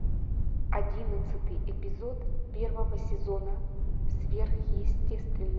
одиннадцатый эпизод первого сезона сверхъестественное